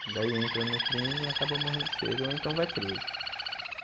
Daí entra no crime e acaba morrendo cedo ou então vai preso.